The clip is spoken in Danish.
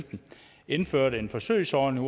indførte en forsøgsordning